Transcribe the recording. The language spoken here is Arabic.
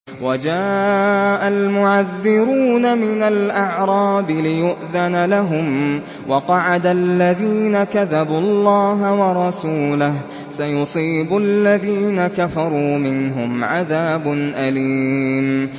وَجَاءَ الْمُعَذِّرُونَ مِنَ الْأَعْرَابِ لِيُؤْذَنَ لَهُمْ وَقَعَدَ الَّذِينَ كَذَبُوا اللَّهَ وَرَسُولَهُ ۚ سَيُصِيبُ الَّذِينَ كَفَرُوا مِنْهُمْ عَذَابٌ أَلِيمٌ